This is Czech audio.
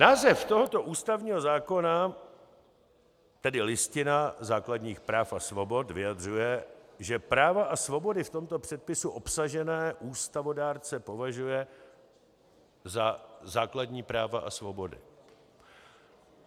Název tohoto ústavního zákona, tedy Listina základních práv a svobod, vyjadřuje, že práva a svobody v tomto předpisu obsažené ústavodárce považuje za základní práva a svobody.